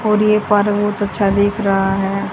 और ये पार्क बहोत अच्छा दिख रहा है।